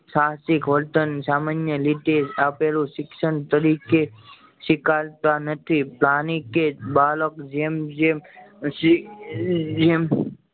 સાહસિક વર્તન સામન્ય રીતે આપેલું શિક્ષણ તરીકે સ્વીકારતા નથી પરની કે બાળક જેમ જેમ શીખે એમ એમ